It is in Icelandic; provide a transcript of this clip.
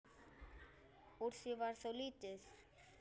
Úr því varð þó lítið.